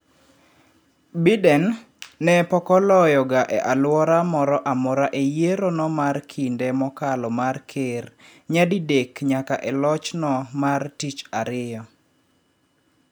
Biden, ne pokoloyo ga e alwora moro amora e yiero no mar kinde mokalo mar ker nyadi dek nyaka e loch no mar tich ariyo.